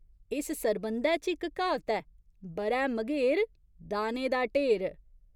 इस सरबंधै च इक क्हावत ऐ ब'रै मघेर, दाने दा ढेर।